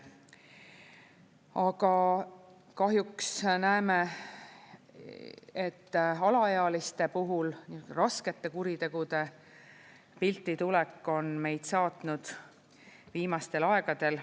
Aga kahjuks näeme, et alaealiste puhul raskete kuritegude pilti tulek on meid saatnud viimastel aegadel.